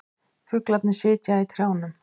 Fuglarnir sitja í trjánum.